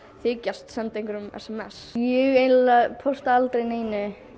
þykjast senda einhverjum sms ég eiginlega pósta aldrei neinu